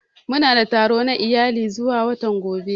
Muna da taro na iyali zuwa watan gaba.